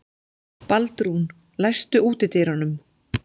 Baldrún, læstu útidyrunum.